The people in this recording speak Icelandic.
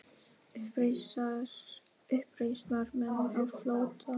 Uppreisnarmenn á flótta